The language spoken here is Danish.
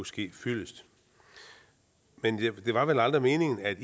ske fyldest men det var vel aldrig meningen at